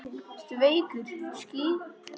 Ertu veikur?